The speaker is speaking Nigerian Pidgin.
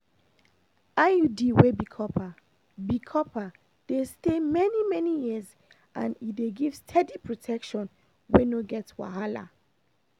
iud wey be copper dey be copper dey stay many-many years and e dey give steady protection wey no get wahala.